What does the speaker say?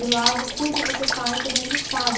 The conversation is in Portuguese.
E lá vo, tudo que você faz, todo mundo sabe.